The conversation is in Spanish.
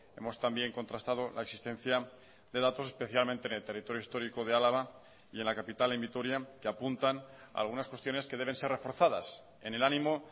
hemos también contrastado la existencia de datos especialmente en el territorio histórico de álava y en la capital en vitoria que apuntan a algunas cuestiones que deben ser reforzadas en el ánimo